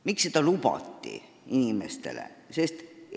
Miks seda inimestele lubati?